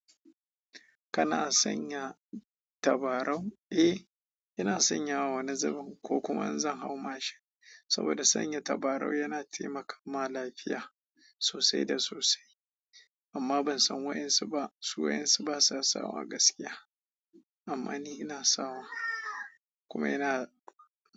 Kana sanya tabarau? Eh, ina sanyawa wani zubin ko kuma in zan hau mashin saboda sanya tabarau yana taimakawa lafiya sosai da sosai. Amma ban san waɗansu ba, su waɗansu ba sa sawa gaskiya. Amma ni ina sawa kuma ina.